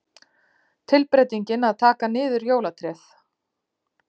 Tilbreytingin að taka niður jólatréð.